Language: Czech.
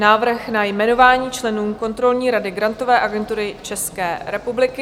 Návrh na jmenování členů kontrolní rady Grantové agentury České republiky